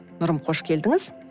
нұрым қош келдініз